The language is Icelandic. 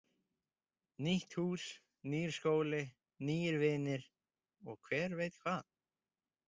Nýtt hús, nýr skóli, nýir vinir og hver veit hvað.